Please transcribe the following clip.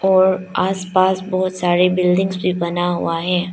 और आसपास बहोत सारे बिल्डिंगग्स भी बना हुआ है।